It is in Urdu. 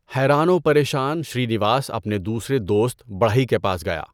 حیران و پریشان شری نِواس اپنے دوسرے دوست، بڑھئی کے پاس گیا۔